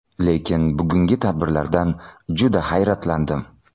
Lekin bugungi tadbirlardan juda hayratlandim.